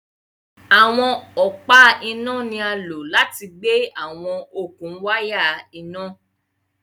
Awọn ọpa ina ni a lo lati gbe awọn okun waya ina